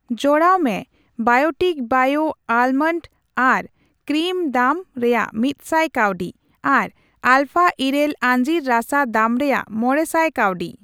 ᱡᱚᱲᱟᱣ ᱢᱮ Biotique bio almond eye cream ᱫᱟᱢ ᱨᱮᱭᱟᱜ ᱢᱤᱛᱥᱟᱭ ᱠᱟᱹᱣᱰᱤ ᱟᱨ ᱟᱞᱯᱷᱟ ᱤᱨᱟᱹᱞ ᱟᱹᱡᱤᱨ ᱨᱟᱥᱟ ᱫᱟᱢ ᱨᱮᱭᱟᱜ ᱢᱚᱲᱮᱥᱟᱭ ᱠᱟᱹᱣᱰᱤ ᱾